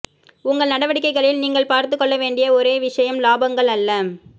உங்கள் நடவடிக்கைகளில் நீங்கள் பார்த்துக் கொள்ள வேண்டிய ஒரே விஷயம் இலாபங்கள் அல்ல